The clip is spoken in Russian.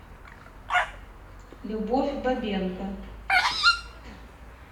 любовь бабенко